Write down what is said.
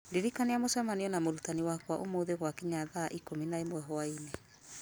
ndirikania mũcemanio na mũrutani wakwa ũmũthĩ gwakinya thaa ikũmi na ĩmwe hwaĩ-inĩ